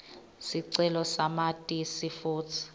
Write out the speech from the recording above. sicelo samatisi futsi